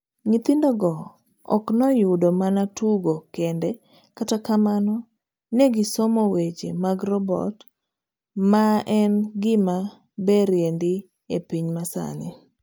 Nyithindogo ok noyudo mana tugo kende kata kamano ne gisomo weche mag robot maen gima berie ndii epiny masani.